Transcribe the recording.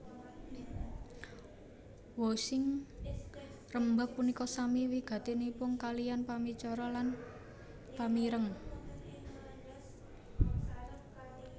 Wosing rembag punika sami wigatinipun kaliyan pamicara lan pamireng